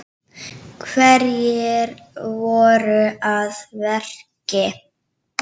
Hverjir voru að verki?